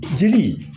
Jeli